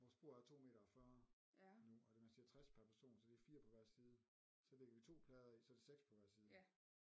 Vores bord er 2 meter og 40 nu og man siger 60 per person så det er 4 på hver side så lægger vi 2 plader i så er det 6 på hver side